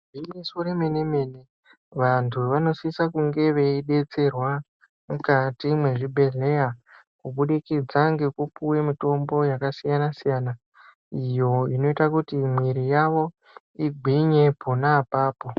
Gwinyiso remene mene vanthu vanosise kunge veidetserwa mukati mwezvibhehlera kubudikidza ngekupuwe mutombo yakasiyana siyana iyo inoite kuti muiri yavo igwinye pona apapo.